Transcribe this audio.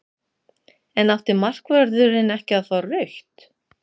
En átti markvörðurinn ekki að fá rautt?